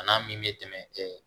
A n'a min bɛ tɛmɛ